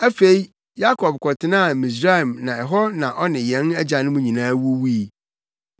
Afei, Yakob kɔtenaa Misraim na ɛhɔ na ɔne yɛn agyanom nyinaa wuwui.